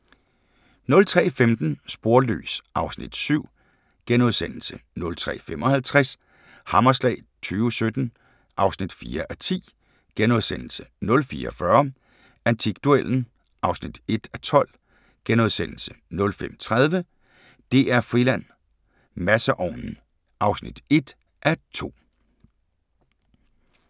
03:15: Sporløs (Afs. 7)* 03:55: Hammerslag 2017 (4:10)* 04:40: Antikduellen (1:12)* 05:30: DR-Friland: Masseovnen (1:2)